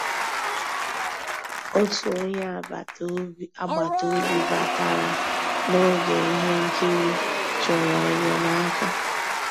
Ótú ónyé àgbàtà òbí bàtarà n'ògé íhé nkírí, chọ̀rọ́ ényémàká.